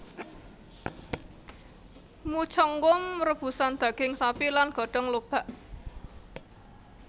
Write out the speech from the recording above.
Mucheonggom rebusan daging sapi lan godong lobak